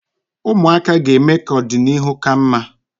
Ụmụaka ga-eme ka ọdịnihu ka mma.